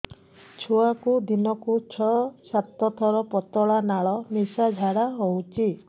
ଛୁଆକୁ ଦିନକୁ ଛଅ ସାତ ଥର ପତଳା ନାଳ ମିଶା ଝାଡ଼ା ହଉଚି